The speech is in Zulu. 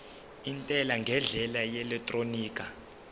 intela ngendlela yeelektroniki